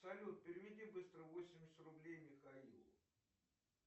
салют переведи быстро восемьдесят рублей михаилу